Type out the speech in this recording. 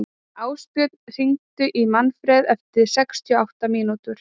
Ásbjörn, hringdu í Manfred eftir sextíu og átta mínútur.